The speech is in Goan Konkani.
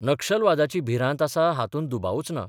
नक्षलवादाची भिरांत आसा हातूंत दुबावूच ना.